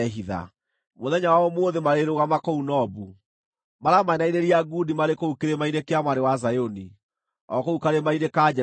Mũthenya wa ũmũthĩ marĩrũgama kũu Nobu; maramainainĩria ngundi marĩ kũu kĩrĩma-inĩ kĩa Mwarĩ wa Zayuni, o kũu karĩma-inĩ ka Jerusalemu.